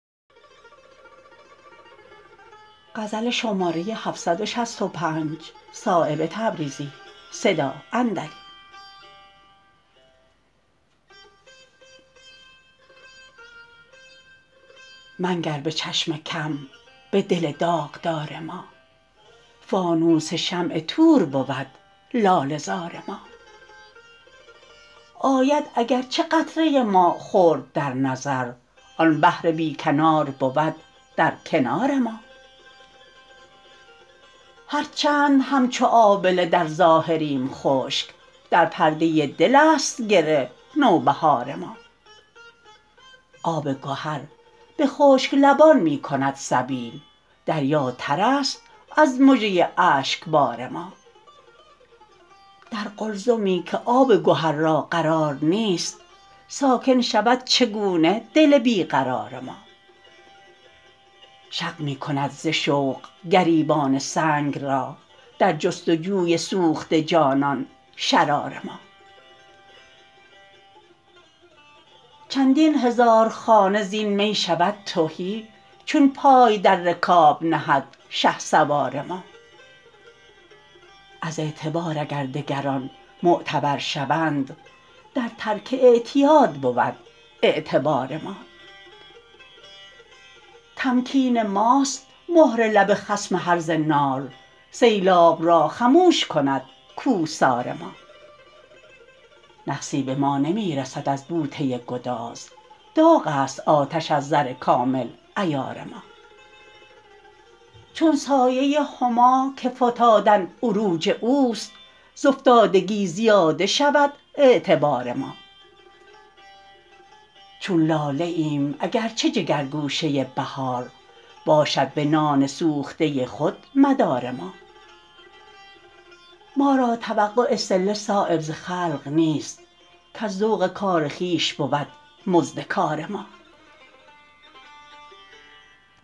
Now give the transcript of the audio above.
منگر به چشم کم به دل داغدار ما فانوس شمع طور بود لاله زار ما آید اگر چه قطره ما خرد در نظر آن بحر بیکنار بود در کنار ما هر چند همچو آبله در ظاهریم خشک در پرده دل است گره نوبهار ما آب گهر به خشک لبان می کند سبیل دریا ترست از مژه اشکبار ما در قلزمی که آب گهر را قرار نیست ساکن شود چگونه دل بی قرار ما شق می کند ز شوق گریبان سنگ را در جستجوی سوخته جانان شرار ما چندین هزار خانه زین می شود تهی چون پای در رکاب نهد شهسوار ما از اعتبار اگر دگران معتبر شوند در ترک اعتیاد بود اعتبار ما تمکین ماست مهر لب خصم هرزه نال سیلاب را خموش کند کوهسار ما نقصی به ما نمی رسد از بوته گداز داغ است آتش از زر کامل عیار ما چون سایه هما که فتادن عروج اوست ز افتادگی زیاده شود اعتبار ما چون لاله ایم اگر چه جگرگوشه بهار باشد به نان سوخته خود مدار ما ما را توقع صله صایب ز خلق نیست کز ذوق کار خویش بود مزد کار ما